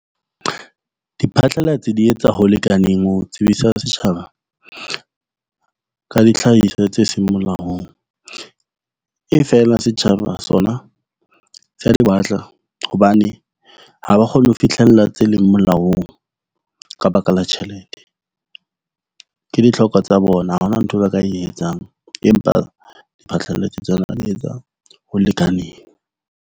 Diphatlalatsi di etsa ho lekaneng ho tsebisa setjhaba ka dihlahiswa tse seng molaong, e fela setjhaba sona sa di batla. Hobane ha ba kgone ho fitlhella tse leng molaong ka baka la tjhelete. Ke ditlhoko tsa bona. Ha hona nthwe ba ka e etsang, empa diphatlalatsi tsona di etsa ho lekaneng.